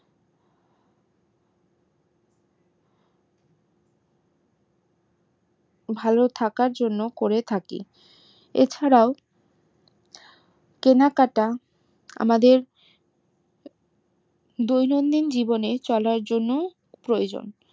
ভালো থাকার জন্য করে থাকি এ ছাড়াও কেনাকাটা আমাদের দৈনন্দিন জীবনে চলার জন্য প্রয়োজন